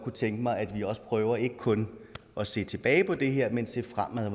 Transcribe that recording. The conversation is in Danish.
tænke mig at vi prøver ikke kun at se tilbage på det her men ser fremad